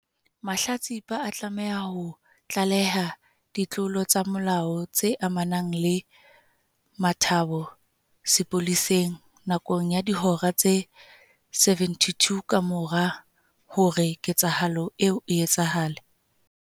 Mahlatsipa a tlameha ho tlaleha ditlolo tsa molao tse amanang le motabo sepoleseng, nakong ya dihora tse 72 kamora hore ketsahalo eo e etsahale.